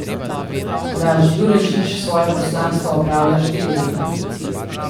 Blaž Jurečič svoje poslanstvo opravlja štiri leta.